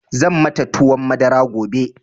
Zan mata tuwon madara gobe.